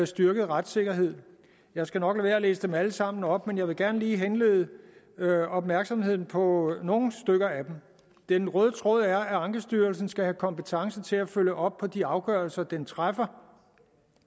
styrket retssikkerhed jeg skal nok med at læse dem alle sammen op men jeg vil gerne lige henlede opmærksomheden på nogle stykker af dem den røde tråd er at ankestyrelsen skal have kompetence til at følge op på de afgørelser den træffer